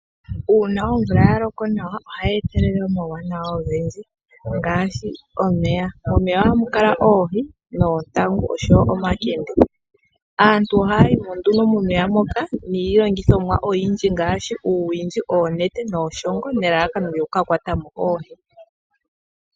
Uuna omvula yaloko nawa ohayi etelele omauwanawa ogendji, ngaashi omeya momeya ohamu kala oohi noontangu noshowoo omakende, aantu ohaya yimo nduno momeya moka niilongithomwa oyindji ngaashi uuwishi, oonete nuushongo nelalakano lyokukakwatamo oohi.